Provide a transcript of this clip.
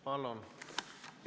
Palun!